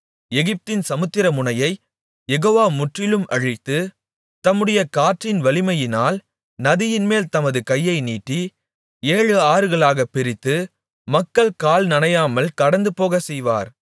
எகிப்தின் சமுத்திரமுனையைக் யெகோவா முற்றிலும் அழித்து தம்முடைய காற்றின் வலிமையினால் நதியின்மேல் தமது கையை நீட்டி ஏழு ஆறுகளாகப் பிரித்து மக்கள் கால் நனையாமல் கடந்துபோகச் செய்வார்